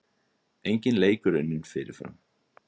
Enginn leikur unninn fyrirfram